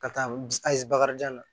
Ka taa ayi bakarijan na